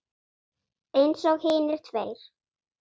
Eins og hinir tveir.